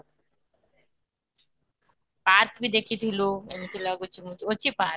park ବି ଦେଖିଥିଲୁ ଏମିତି ଲାଗୁଛି ଅଛି park